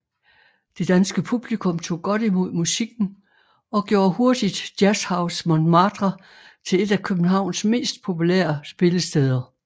Det danske publikum tog godt imod musikken og gjorde hurtigt Jazzhus Montmartre til et af Københavns mest populære spillesteder